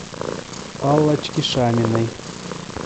аллочке шаминой